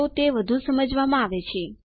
તો તે વધુ સમજમાં આવે છે